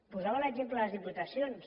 posava l’exemple de les diputacions